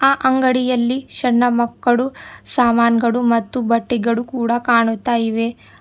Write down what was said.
ಆ ಅಂಗಡಿಯಲ್ಲಿ ಸಣ್ಣ ಮಕ್ಕಳು ಸಾಮಾನ್ ಗಳು ಮತ್ತು ಬಟ್ಟಿಗಳು ಕೂಡ ಕಾಣುತ್ತಾ ಇವೆ.